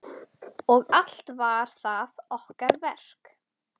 Og allt var það okkar verk.